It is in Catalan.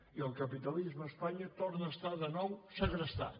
i el capitalisme a espanya torna a estar de nou segrestat